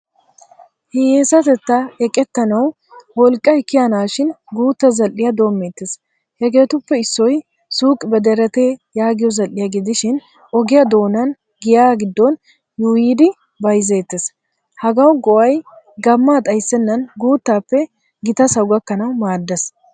Hiyesatettaa eqqetanawu wolqqay kiyanashin guutta zal'iyaa doommetees. Hegetuppe issoy suq bederete yaagiyo zal'iyaa gidhishin ogiya doonan giya giddon yuuyiidibayzzetees. Hagawu go'ay gamma xayssenan guttappe gitasawu gakkanawu maadees.